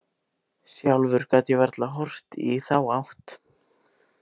Sjálfur gat ég varla horft í þá átt.